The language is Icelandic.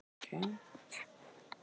Sjá bréfið í heild